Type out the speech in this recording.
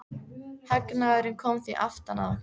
Hagnaðurinn kom því aftan að okkur.